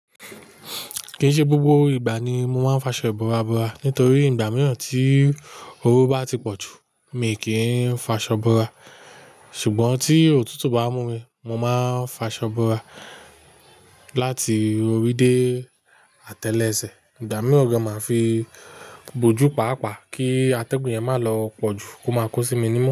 Kìí ṣe gbogbo ìgbà ni mo máa ń f'aṣọ ìbora bora. Nítorí ìgbà mìíràn tí oru bá ti pọ̀ jù, mi o kì í f'aṣọ bora. Ṣùgbọ́n tí òtútù bá mú mi, mo máa ń f'aṣọ ìbora láti orí dé atẹ́lẹsẹ̀. Ìgbà mìíràn gan, màá fi bojú paàpáà kí atẹ́gùn yẹn má lọ pọ̀ jù kó máa kó sí mi ní imú.